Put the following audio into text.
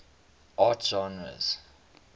art genres